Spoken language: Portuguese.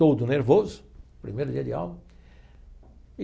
Todo nervoso, primeiro dia de aula.